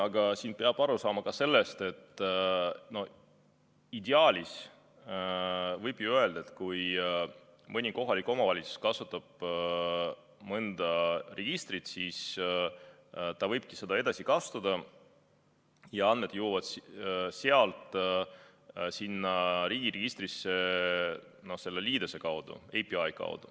Aga siin peab aru saama ka sellest, et ideaalis võib ju öelda, et kui mõni kohalik omavalitsus kasutab mõnda registrit, siis ta võibki seda edasi kasutada ja andmed jõuavad sealt riigi registrisse selle liidese kaudu.